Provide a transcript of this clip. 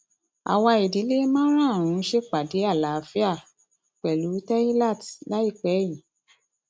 àwa ìdílé márààrún ṣèpàdé àlàáfíà pẹlú teilat láìpẹ yìí